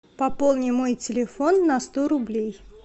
пополни мой телефон на сто рублей